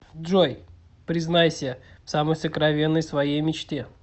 джой признайся в самой сокровенной своей мечте